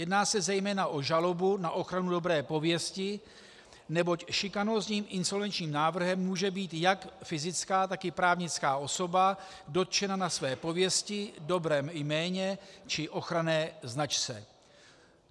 Jedná se zejména o žalobu na ochranu dobré pověsti, neboť šikanózním insolvenčním návrhem může být jak fyzická, tak i právnická osoba dotčena na své pověsti, dobrém jméně či ochranné značce.